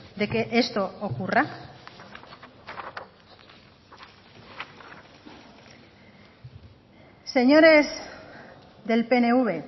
de que esto ocurra señores del pnv